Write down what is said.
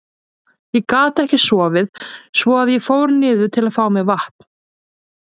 Ég gat ekki sofið svo að ég fór niður til að fá mér vatn.